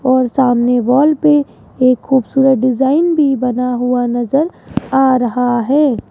और सामने वॉल पे एक खूबसूरत डिजाईन भी बना हुआ नजर आ रहा है।